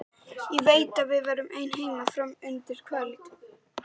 Ég veit að við verðum ein heima fram undir kvöld.